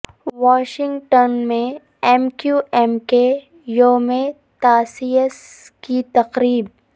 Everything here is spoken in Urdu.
واشنگٹن میں ایم کیو ایم کے یوم تاسیس کی تقریب